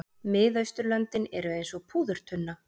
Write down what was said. Miðausturlöndin eru eins og púðurtunna.